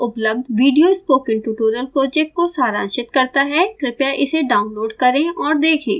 निम्न लिंक पर उपलब्ध विडियो स्पोकन ट्यूटोरियल प्रोजेक्ट को सारांशित करता है कृपया इसे डाउनलोड करें और देखें